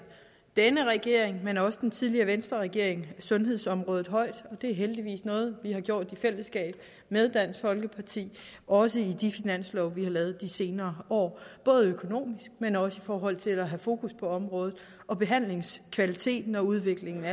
denne regering men også den tidligere venstreregering sundhedsområdet højt og det er heldigvis noget vi har gjort i fællesskab med dansk folkeparti også i de finanslove vi har lavet de senere år både økonomisk men også i forhold til at have fokus på området på behandlingskvaliteten og udviklingen af